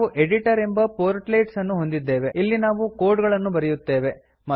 ನಾವು ಎಡಿಟರ್ ಎಂಬ ಪೋರ್ಟ್ಲೆಟ್ಸ್ ಅನ್ನು ಹೊಂದಿದ್ದೇವೆ ಇಲ್ಲಿ ನಾವು ಕೋಡ್ ಗಳನ್ನು ಬರೆಯುತ್ತೇವೆ